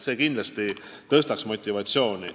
See kindlasti tõstaks motivatsiooni.